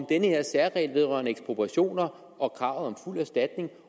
den her særregel vedrørende ekspropriationer og krav om fuld erstatning